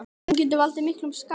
Hún getur valdið miklum skaða.